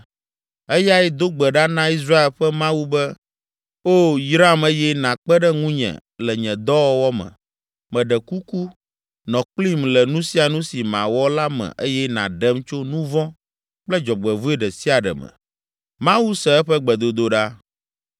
Eyae do gbe ɖa na Israel ƒe Mawu be, “Oo, yram eye nàkpe ɖe ŋunye le nye dɔwɔwɔ me. Meɖe kuku, nɔ kplim le nu sia nu si mawɔ la me eye nàɖem tso nu vɔ̃ kple dzɔgbevɔ̃e ɖe sia ɖe me.” Mawu se eƒe gbedodoɖa.